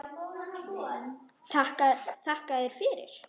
Þakka þér fyrir.